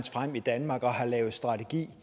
frem i danmark og har lavet en strategi